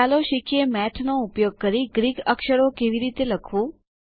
ચાલો શીખીએ મેઠનો ઉપયોગ કરી ગ્રીક અક્ષરો કેવી રીતે લખવું